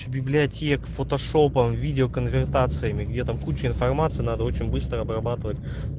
библиотек фотошопа видео конвертации где там куча информация надо очень быстро обрабатывать